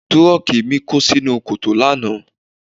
Tírọ́ọ̀kì mi kó sínú kòtò lánàá.